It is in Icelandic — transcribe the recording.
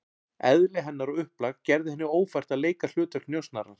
Eðli hennar og upplag gerði henni ófært að leika hlutverk njósnarans.